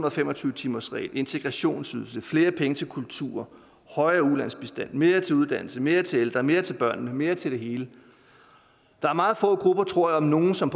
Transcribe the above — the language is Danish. og fem og tyve timersregel integrationsydelse flere penge til kulturen højere ulandsbistand mere til uddannelse mere til ældre mere til børnene mere til det hele der er meget få grupper tror jeg om nogen som